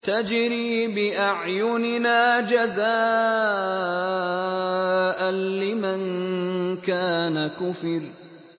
تَجْرِي بِأَعْيُنِنَا جَزَاءً لِّمَن كَانَ كُفِرَ